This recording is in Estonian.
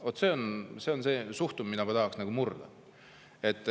Vaat see on see suhtumine, mida ma tahaksin murda.